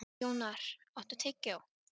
Jónar, áttu tyggjó?